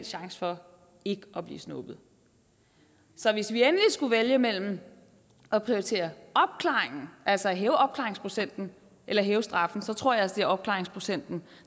chance for ikke at blive snuppet så hvis vi endelig skulle vælge mellem at prioritere opklaringen altså hæve opklaringsprocenten eller at hæve straffen så tror jeg altså at det er opklaringsprocenten